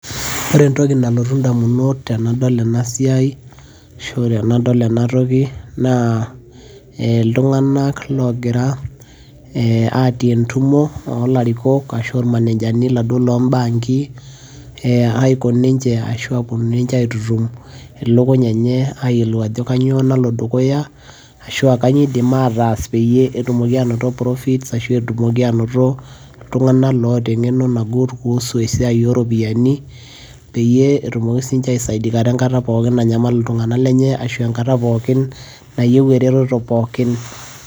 Ore entoki nalotu indamunot tenadol enasiai, ashu tenadol enatoki, naa iltung'anak logira atii entumo olarikok, ashu ormanejani laduo lo bankii, eh aiko ninche ashu aponu ninche aitutum ilukuny enye ayiolou ajo kanyioo nalo dukuya, ashua kanyioo iidim ataas peyie etumoki anoto profit ,ashu etumoki anoto iltung'anak loota eng'eno nagut kuhusu esiai oropiyiani, peyie etumoki sinche aisaidikata enkata pookin nanyamal iltung'anak lenye, ashua enkata pookin nayieu ereteto pookin.